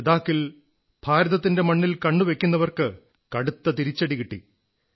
ലഡാക്കിൽ ഭാരതത്തിന്റെ മണ്ണിൽ കണ്ണുവയ്ക്കുന്നവർക്ക് കടുത്ത തിരിച്ചടി കിട്ടി